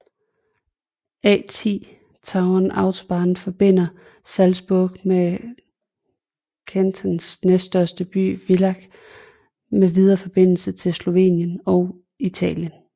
A10 Tauern Autobahn forbinder Salzburg og Kärntens næststørste by Villach med videre forbindelse til Slovenien og Italien